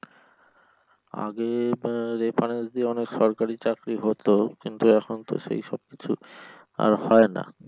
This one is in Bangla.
আগে আহ reference দিয়ে অনেক সরকারী চাকরি হতো কিন্তু তো সেইসব কিছু আর হয় না।